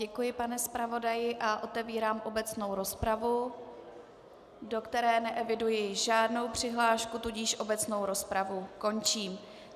Děkuji pane zpravodaji a otevírám obecnou rozpravu, do které neeviduji žádnou přihlášku, tudíž obecnou rozpravu končím.